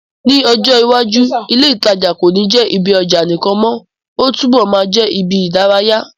Ní ọjọ́ iwájú, ilé ìtajà kò ní jẹ́ ibi ọjà nìkan mọ́, ó túbọ̀ máa jẹ́ ibi ìdárayá.